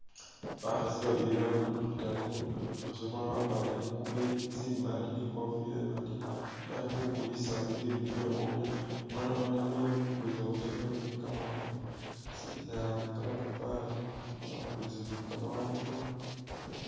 Bakhaasi babili bali mukhatale umukhaasi umulala wakwalire i'ngubo tsimaali ni kofila imaali bali khabukulisa bibindu byekhulya, umulala wenamilile balikhukulisa watermelon kamaroofu tsi naa kamapapali bali khukulisa ni kamawondo